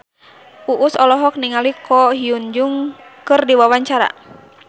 Uus olohok ningali Ko Hyun Jung keur diwawancara